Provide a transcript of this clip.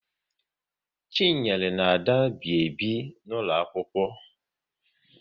Chinyere na Ada bi ebi n'ụlọ akwụkwọ